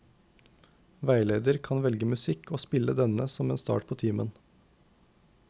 Veileder kan velge musikk og spille denne som en start på timen.